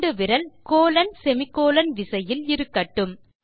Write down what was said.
சுண்டுவிரல் colonsemi colon விசையில் இருக்கட்டும்